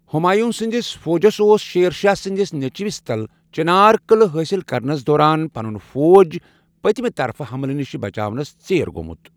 ہمایوں سٕندِس فوجس اوس شیر شاہ سندِس نیچوِس تل چنار قعلہٕ حٲصِل كرنس دوران پنن فوج پتِمہِ طرفہٕ حملہٕ نِش بچٲوِنس ژیر گوٚمت ۔